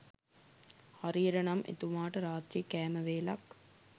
හරියට නම් එතුමාට රාත්‍රී කෑම වේලක්